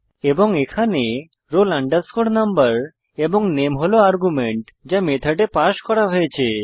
এবং এখানে roll number এবং নামে হল আর্গুমেন্ট যা মেথডে পাস করা হয়েছে